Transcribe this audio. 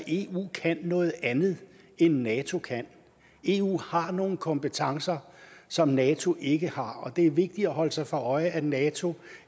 eu kan noget andet end nato kan eu har nogle kompetencer som nato ikke har og det er vigtigt at holde sig for øje at nato